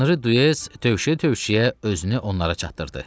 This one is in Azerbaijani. Anri Dyes döyüşə-döyüşə özünü onlara çatdırdı.